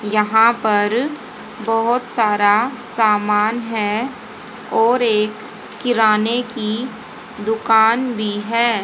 यहां पर बहोत सारा सामान है और एक किराने की दुकान भी है।